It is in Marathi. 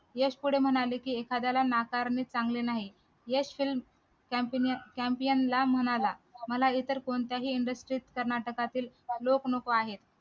यश पुढे म्हणाले की एखाद्याला नाकारणे चांगले नाही यश campion म्हणाला मला इतर कोणत्याही industry कर्नाटकातील लोक नको आहे